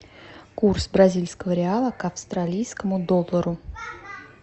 курс бразильского реала к австралийскому доллару